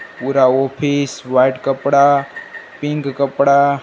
पूरा office white कपड़ा pink कपड़ा--